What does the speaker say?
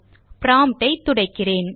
promptஐ துடைக்கிறேன்